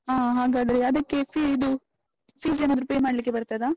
ಹ, ಹಾಗಾದ್ರೆ ಅದಕ್ಕೆ fee ಇದು fees ಏನಾದ್ರು pay ಮಾಡ್ಲಿಕ್ಕೆ ಬರ್ತದಾ?